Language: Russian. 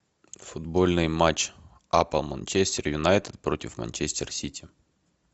футбольный матч апл манчестер юнайтед против манчестер сити